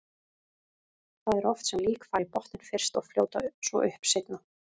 Það er oft sem lík fara í botninn fyrst og fljóta svo upp seinna.